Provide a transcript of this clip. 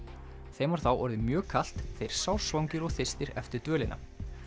þeim var þá orðið mjög kalt sársvangir og þyrstir eftir dvölina